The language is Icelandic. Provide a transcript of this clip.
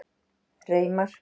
Reimar